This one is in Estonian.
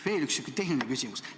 Veel üks selline tehniline küsimus.